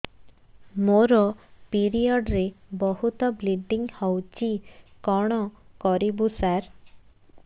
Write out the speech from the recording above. ମୋର ପିରିଅଡ଼ ରେ ବହୁତ ବ୍ଲିଡ଼ିଙ୍ଗ ହଉଚି କଣ କରିବୁ ସାର